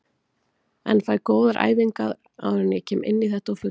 En fæ góðar æfingar áður en ég kem inní þetta á fullu.